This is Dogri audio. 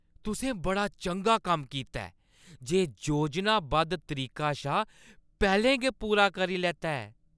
तुसें बड़ा चंगा कम्म कीता ऐ ते योजनाबद्ध तरीका शा पैह्‌लें गै पूरा करी लैता ऐ।